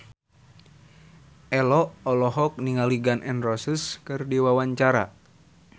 Ello olohok ningali Gun N Roses keur diwawancara